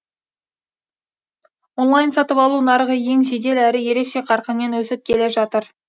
онлайн сатып алу нарығы ең жедел әрі ерекше қарқынмен өсіп келе жатыр